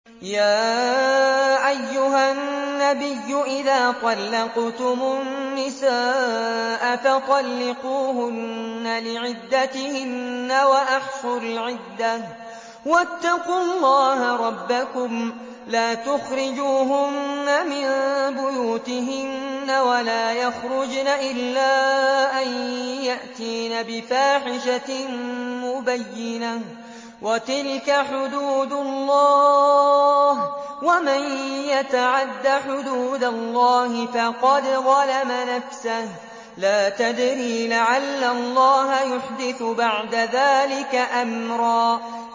يَا أَيُّهَا النَّبِيُّ إِذَا طَلَّقْتُمُ النِّسَاءَ فَطَلِّقُوهُنَّ لِعِدَّتِهِنَّ وَأَحْصُوا الْعِدَّةَ ۖ وَاتَّقُوا اللَّهَ رَبَّكُمْ ۖ لَا تُخْرِجُوهُنَّ مِن بُيُوتِهِنَّ وَلَا يَخْرُجْنَ إِلَّا أَن يَأْتِينَ بِفَاحِشَةٍ مُّبَيِّنَةٍ ۚ وَتِلْكَ حُدُودُ اللَّهِ ۚ وَمَن يَتَعَدَّ حُدُودَ اللَّهِ فَقَدْ ظَلَمَ نَفْسَهُ ۚ لَا تَدْرِي لَعَلَّ اللَّهَ يُحْدِثُ بَعْدَ ذَٰلِكَ أَمْرًا